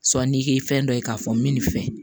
Sɔnni kɛ fɛn dɔ ye k'a fɔ n bɛ nin fɛ